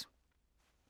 DR2